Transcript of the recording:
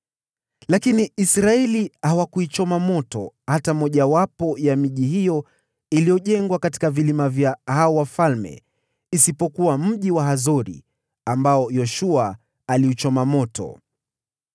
Lakini Israeli hawakuichoma moto hata mojawapo ya miji iliyojengwa katika vilima vyao vidogo isipokuwa mji wa Hazori ambao Yoshua aliuchoma moto.